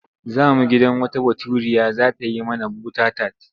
Za mu gidan wata Baturiya za ta yi mana bota-tat.